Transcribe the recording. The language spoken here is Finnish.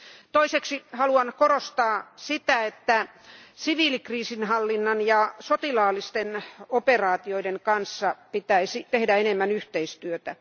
Toiseksi haluan korostaa sitä, että siviilikriisinhallinnan ja sotilaallisten operaatioiden välillä pitäisi tehdä enemmän yhteistyötä.